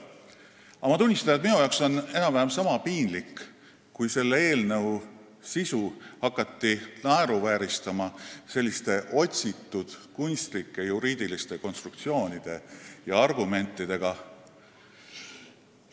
Aga ma tunnistan, et minu arvates oli enam-vähem sama piinlik, kui selle eelnõu sisu hakati naeruvääristama otsitud, kunstlike juriidiliste konstruktsioonide ja argumentidega.